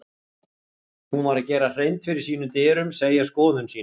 Hún varð að gera hreint fyrir sínum dyrum, segja skoðun sína.